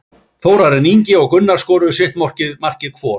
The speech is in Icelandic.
Þórarinn Ingi og Gunnar skoruðu sitt markið hvor.